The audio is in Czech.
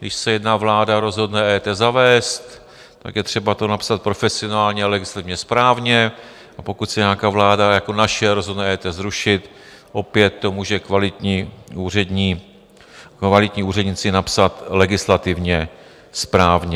Když se jedna vláda rozhodne EET zavést, tak je třeba to napsat profesionálně a legislativně správně, a pokud se nějaká vláda jako naše rozhodne EET zrušit, opět to můžou kvalitní úředníci napsat legislativně správně.